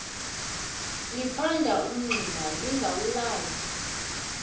liphanda umngxuma lingawulali